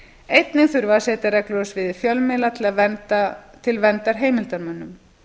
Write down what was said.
einnig þurfi að setja reglur á sviði fjölmiðla til verndar heimildarmönnum